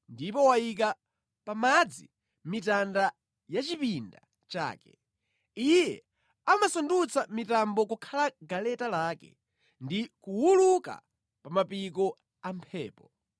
ndipo wayika pa madzi mitanda ya chipinda chake. Iye amasandutsa mitambo kukhala galeta lake, ndi kuwuluka pa mapiko a mphepo.